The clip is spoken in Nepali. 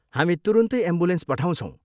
हामी तुरुन्तै एम्बुलेन्स पठाउँछौँ।